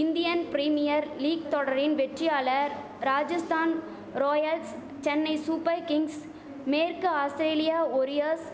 Indian Premier League தொடரின் வெற்றியாளர் Rajasthan Royals Chennai Super Kings மேற்கு ஆஸ்திரேலிய ஒரியஸ்